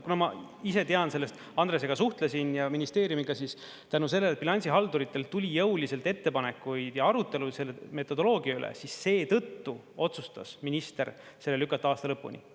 Kuna ma ise tean sellest, Andresega suhtlesin ja ministeeriumiga, siis tänu sellele, et bilansihalduritelt tuli jõuliselt ettepanekuid ja arutelu metodoloogia üle, seetõttu otsustas minister selle lükata aasta lõpuni.